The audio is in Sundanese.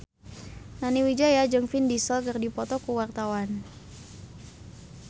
Nani Wijaya jeung Vin Diesel keur dipoto ku wartawan